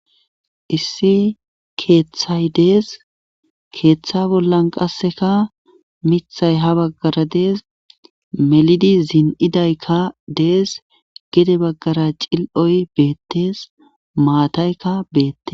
Issi keeththay dees keeththa bollan qasseka mithay ha baggara dees melidi zin7idaykka dees gede baggara cil7oy beettees maataykka beette.